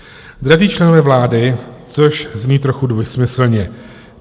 Drazí členové vlády - což zní trochu dvojsmyslně.